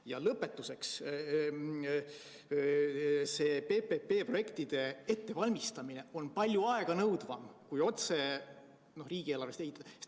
Ja lõpetuseks, see PPP-projektide ettevalmistamine on palju aeganõudvam kui otse riigieelarve rahaga ehitamine.